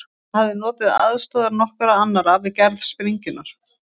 Hann hafði notið aðstoðar nokkurra annarra við gerð sprengjunnar.